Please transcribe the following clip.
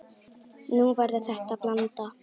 Nú verður þetta blanda.